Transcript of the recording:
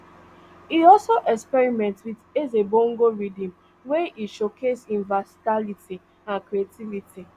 e also experiment wit ezebongo rhythms wia e showcase im versatility and creativity